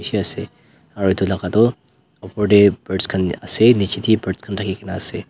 aro edu laka toh oper tae birds khan ase nichae tae bi birds khan thaki kaena ase.